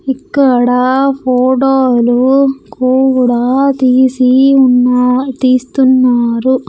ఇక్కడ ఫోటోలు కూడా తీసి ఉన్న-- తీస్తున్నారు.